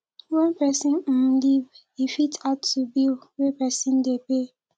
when person um leave e fit add to bill wey person dey pay